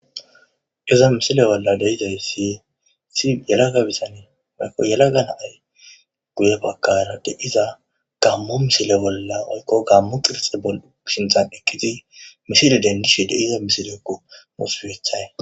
iza misile bolla de'izaysi issi yelagabizanii waykko yela ganaay guye bakara deiza gammo misile bolla oykqo gammo qirxe bol7u shinxan ekkiti misile dengishe de'iza misilekko oso kethay